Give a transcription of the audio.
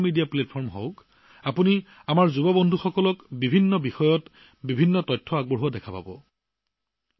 social media platform যিয়েই নহওক কিয় আপুনি নিশ্চিতভাৱে যুৱ বন্ধুসকলক বিভিন্ন বিষয়ত বিভিন্ন বিষয়বস্তু শ্বেয়াৰ কৰা দেখিব